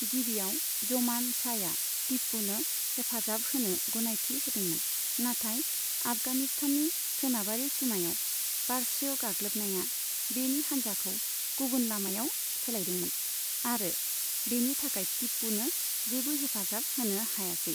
गिबिआव, ज'मान शाहया तिपुनो हेफाजाब होनो गनायथि होदोंमोन, नाथाय आफगानिस्ताननि सोनाबारि सिमायाव पारश्य गाग्लोबनाया बेनि हान्जाखौ गुबुन लामायाव सोलायदोंमोन, आरो बेनि थाखाय तिपुनो जेबो हेफाजाब होनो हायासै।